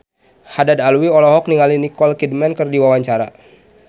Haddad Alwi olohok ningali Nicole Kidman keur diwawancara